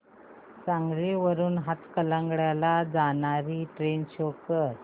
सांगली वरून हातकणंगले ला जाणारी ट्रेन शो कर